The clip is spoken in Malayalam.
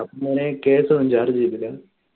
case ഒന്നു charge ചെയ്തില്ല